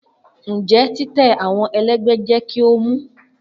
Njẹ titẹ awọn ẹlẹgbẹ jẹ ki o mu?